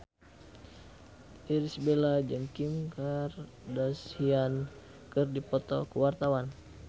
Irish Bella jeung Kim Kardashian keur dipoto ku wartawan